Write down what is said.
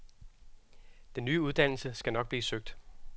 Den nye uddannelse skal nok blive søgt.